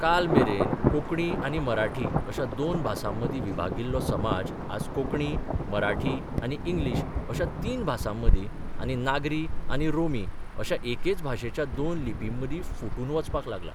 काल मेरेन कोंकणी आनी मराठी अश्या दोन भासांमदीं विभागिल्लो समाज आज कोंकणी, मराठी आनी इंग्लीश अश्या तीन भासांमदीं आनी नागरी आनी रोमी अश्या एकेच भाशेच्या दोन लिपींमदीं 'फुटून 'वचपाक लागला.